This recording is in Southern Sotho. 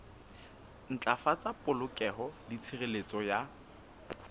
ntlafatsa polokeho le tshireletso ya